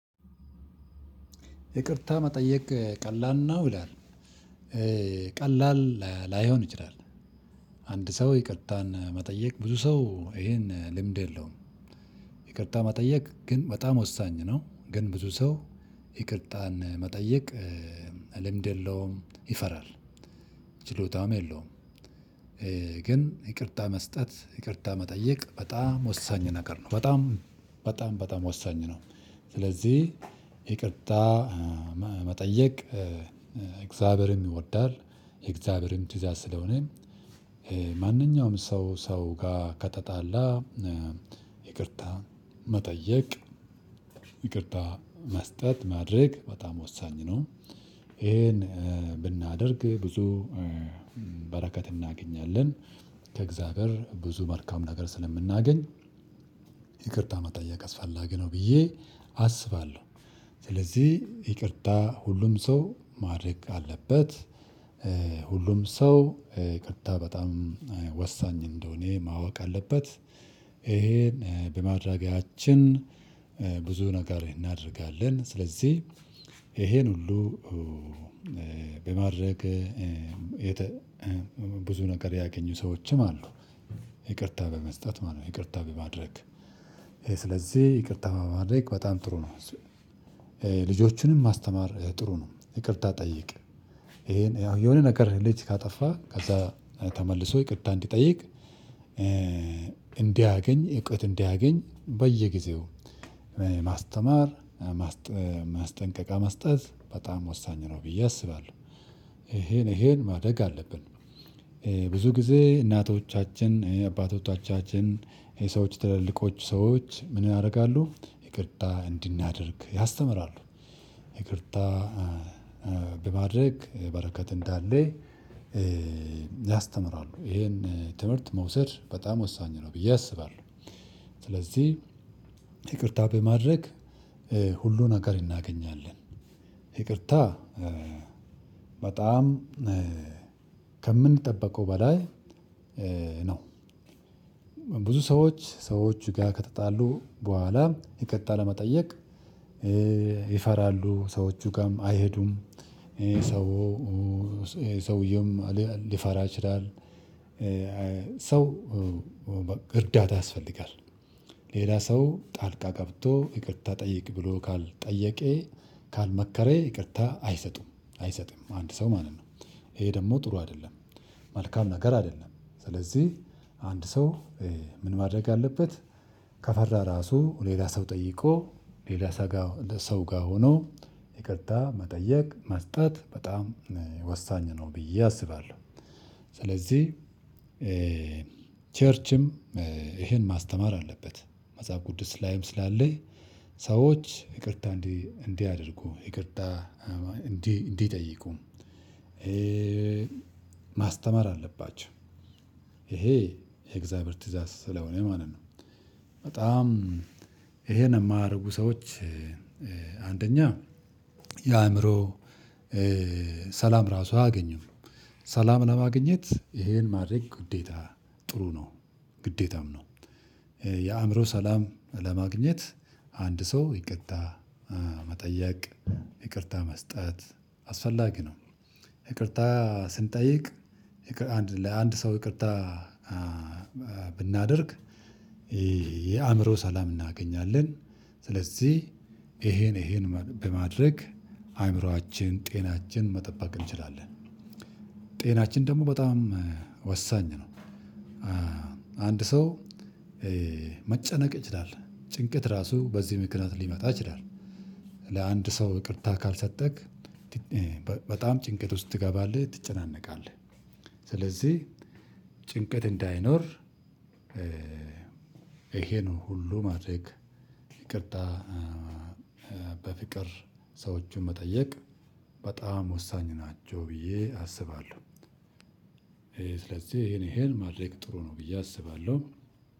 ይቅርታ መጠየቅ ቀላል ነው ይላል። ቀላል ላይሆን ይችላል። አንድ ሰው ይቅርታን መጠየቅ ብዙ ሰው ይሄን ልምድ የለውም። ይቅርታ መጠየቅ ግን በጣም ወሳኝ ነው። ግን ብዙ ሰው ይቅርታን መጠየቅ ልምድ የለውም ይፈራል። ችሎታም የለውም። ግን ይቅርታ መስጠት ይቅርታ መጠየቅ በጣም ወሳኝ ነገር ነው። በጣም በጣም በጣም ወሳኝ ነው። ስለዚህ ይቅርታ መጠየቅ እግዚአብሔርም ይወዳል የእግዚአብሔርም ትእዛዝ ስለሆነ። ማንኛውም ሰው ሰው ጋር ከተጣላ። ይቅርታ መጠየቅ ይቅርታ መስጠት ማድረግ በጣም ወሳኝ ነው። ይሄን ብናደርግ ብዙ በረከት እናገኛለን ከእግዚአብሔር ብዙ መልካም ነገር ስለምናገኝ። ይቅርታ መጠየቅ አስፈላጊ ነው ብዬ አስባለሁ። ስለዚህ ይቅርታ ሁሉም ሰው ማድረግ አለበት። ሁሉም ሰው ይቅርታ በጣም ወሳኝ እንደሆነ ማወቅ አለበት። ይሄን በማድረጋችን ብዙ ነገር እናደርጋለን ስለዚህ ይሄን ሁሉ በማድረግ ብዙ ነገር ያገኙ ሰዎችም አሉ። ይቅርታ በመስጠት ማለት ነው። ይቅርታ በማድረግ ይሄ ስለዚህ ይቅርታ በማድረግ በጣም ጥሩ ነው። ልጆችንም ማስተማር ጥሩ ነው። ይቅርታ ጠይቅ ይሄን ያው የሆነ ነገር ልጅ ካጠፋ ከዛ ተመልሶ ይቅርታ እንዲጠይቅ። እንዲያገኝ እውቀት እንዲያገኝ በየጊዜው ማስተማር ማስጠንቀቂያ መስጠት በጣም ወሳኝ ነው ብዬ አስባለሁ። ይሄን ይሄን ማድረግ አለብን። ብዙ ጊዜ እናቶቻችን አባቶቻችን የሰዎች ትላልቆች ሰዎች ምን ያደርጋሉ? ይቅርታ እንድናደርግ ያስተምራሉ። ይቅርታ በማድረግ በረከት እንዳለ። ያስተምራሉ ይሄን ትምህርት መውሰድ በጣም ወሳኝ ነው ብዬ አስባለሁ። ስለዚህ ይቅርታ በማድረግ ሁሉን ነገር እናገኛለን። ይቅርታ በጣም ከምንጠብቀው በላይ ነው። ብዙ ሰዎች ሰዎች ጋር ከተጣሉ በኋላ ይቅርታ ለመጠየቅ ይፈራሉ ሰዎቹ ጋርም አይሄዱም። ይሄ ሰው ሰውየውም ሊፈራ ይችላል። ሰው እርዳታ ያስፈልጋል። ሌላ ሰው ጣልቃ ገብቶ ይቅርታ ጠይቅ ብሎ ካልጠየቄ ካልመከረ ይቅርታ አይሰጡም አይሰጥም አንድ ሰው ማለት ነው። ይሄ ደግሞ ጥሩ አይደለም። መልካም ነገር አይደለም። ስለዚህ አንድ ሰው ምን ማድረግ አለበት? ከፈራ ራሱ ሌላ ሰው ጠይቆ ሌላ ሰው ጋር ለሰው ጋር ሆኖ ይቅርታ መጠየቅ መስጠት በጣም ወሳኝ ነው። ብዬ አስባለሁ። ስለዚህ ቸርችም ይሄን ማስተማር አለበት። መጽሐፍ ቅዱስ ላይም ስላለ ሰዎች ይቅርታ እንዲህ እንዲያደርጉ ይቅርታ እንዲህ እንዲጠይቁ። ማስተማር አለባቸው። ይሄ የእግዚአብሔር ትእዛዝ ስለሆነ ማለት ነው። በጣም ይሄ ነው የማያደርጉ ሰዎች አንደኛ የአእምሮ ሰላም ራሱ አያገኝም ነው። ሰላም ለማግኘት ይሄን ማድረግ ግዴታ ጥሩ ነው። ግዴታም ነው። የአእምሮ ሰላም ለማግኘት አንድ ሰው ይቅርታ መጠየቅ ይቅርታ መስጠት አስፈላጊ ነው። ይቅርታ ስንጠይቅ። ለአንድ ሰው ይቅርታ ብናደርግ ይሄ የአእምሮ ሰላም እናገኛለን። ስለዚህ ይሄን ይሄን በማድረግ አእምሮአችን ጤናችን መጠበቅ እንችላለን። ጤናችን ደግሞ በጣም ወሳኝ ነው። አንድ ሰው መጨነቅ ይችላል ጭንቀት ራሱ በዚህ መልኩ ሊመጣ ይችላል። ለአንድ ሰው ይቅርታ ካልሰጠክ በጣም ጭንቀት ውስጥ ትገባለህ ትጨነቃለህ። ስለዚህ ጭንቀት እንዳይኖር። ይሄ ነው ሁሉ ማድረግ ይቅርታ በፍቅር ሰዎችን መጠየቅ በጣም ወሳኝ ናቸው። ብዬ አስባለሁ ይሄ ይሄን ይሄን ማድረግ ጥሩ ነው ብዬ አስባለሁ።